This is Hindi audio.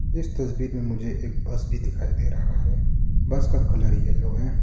इस तस्वीर में मुझे एक बस भी दिखाइ दे रहा हैं बस का कलर येलो है।